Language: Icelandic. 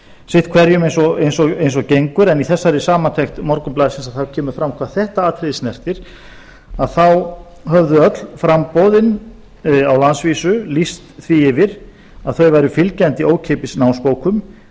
sitt hverjum eins og gengur en í þessari samantekt morgunblaðsins kemur fram hvað þetta atriði snertir að þá höfðu öll framboðin á landsvísu lýst því yfir að þau væru fylgjandi ókeypis námsbókum